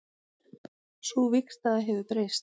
Sú vígstaða hefur breyst